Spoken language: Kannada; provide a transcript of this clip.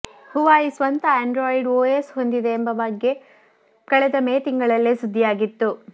ಹುವಾಯಿ ಸ್ವಂತ ಆಂಡ್ರಾಯ್ಡ್ ಓಎಸ್ ಹೊಂದಿದೆ ಎಂಬ ಬಗ್ಗೆ ಕಳೆದ ಮೇ ತಿಂಗಳಲ್ಲೇ ಸುದ್ದಿಯಾಗಿತ್ತು